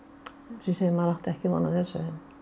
segi maður átti ekki von á þessu